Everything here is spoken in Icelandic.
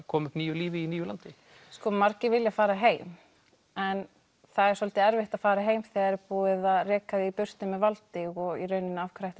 koma upp nýju lífi í nýju landi margir vilja fara heim en það er svolítið erfitt að fara heim þegar það er búið að reka þig í burtu með valdi og af hverju ætti